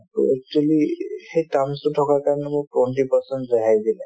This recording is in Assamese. to actually সেই terms তো থকাৰ কাৰণে মোক twenty percent ৰেহাই দিলে